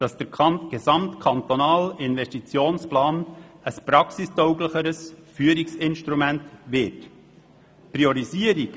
Weiter soll der gesamtkantonale Investitionsplan ein praxistauglicheres Führungsinstrument werden.